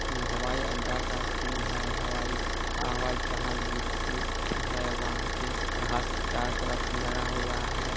ये हवाई अड्डा का सीन है हवाई हवाई जहाज वेहिकल है वहाँ पे घास चारो तरफ लगा हुआ है।